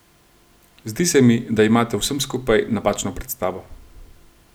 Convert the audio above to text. Zdi se mi, da imate o vsem skupaj napačno predstavo.